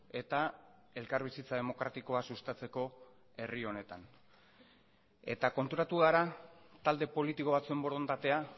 eta elkarbizitza demokratikoa sustatzeko herri honetan eta konturatu gara talde politiko batzuen borondatea